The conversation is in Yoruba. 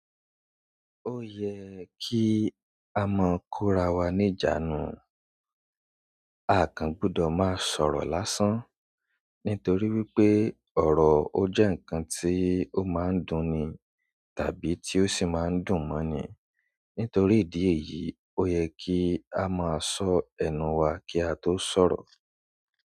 Ó ye kí a máa kóra wa ní ìjánu. A kan gbọ́dọ̀ máa sọ̀rọ̀ lásán. Nítorí wípé ọ̀rọ̀ ó jẹ́ ǹkan tí ó máa ń dùn ni tàbí tí ó sì máa ń dùn mọ́ ni. Nítorí ìdí èyí, ó yẹ kí a máa sọ ẹnu wa kí a tó sọ̀rọ̀.